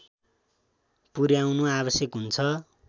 पुर्‍याउनु आवश्यक हुन्छ